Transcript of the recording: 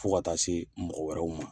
Fɔ ka taa se mɔgɔ wɛrɛw ma.